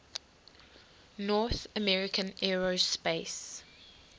north american aerospace